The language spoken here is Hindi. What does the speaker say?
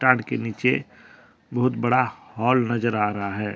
पहाड़ के नीचे बहुत बड़ा हाल नजर आ रहा है।